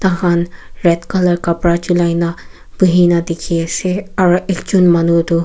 khan red colour kapra chulai na bhuhina dikhi asey aro ekjun manu du--